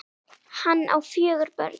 Hann á fjögur börn.